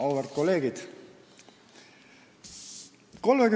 Auväärt kolleegid!